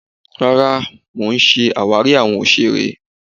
Rárá, mo ṣì ń ṣe àwàrí awon òṣèré.